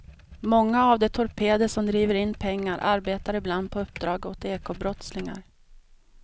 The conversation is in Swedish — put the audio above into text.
Många av de torpeder som driver in pengar arbetar ibland på uppdrag åt ekobrottslingar.